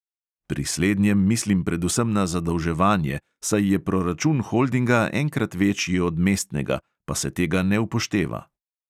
Pri slednjem mislim predvsem na zadolževanje, saj je proračun holdinga enkrat večji od mestnega, pa se tega ne upošteva.